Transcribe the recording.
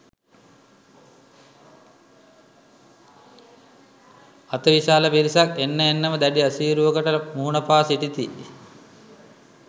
අතිවිශාල පිරිසක් එන්න එන්නම දැඩි අසීරුවකට මුහුණ පා සිටිති.